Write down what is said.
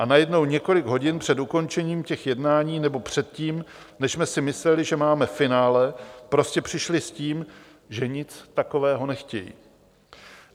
A najednou několik hodin před ukončením těch jednání, nebo předtím, než jsme si mysleli, že máme finále, prostě přišli s tím, že nic takového nechtějí.